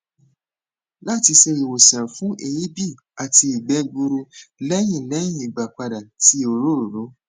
lati ṣe iwosan fun eebi ati igbe gburu lẹhin lẹhin igbapada ti orooro